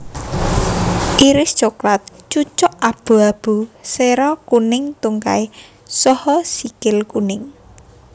Iris coklat cucuk abu abu sera kuning tungkai saha sikil kuning